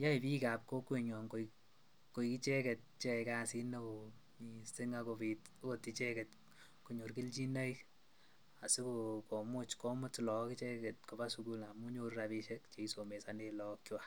yoe biikab kokwenyon koik icheket cheyoe kasit neoo mising ak kobit lot icheket konyor kelchinoik asikomuch komut look icheket koba sukul amun nyoru rabishek cheisomesonen lookwak.